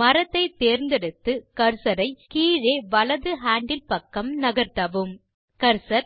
மரத்தை தேர்ந்தெடுத்து கர்சர் ஐ கீழே வலது ஹேண்டில் பக்கம் நகர்த்தவும் கர்சர்